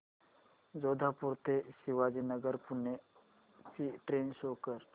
जोधपुर ते शिवाजीनगर पुणे ची train show कर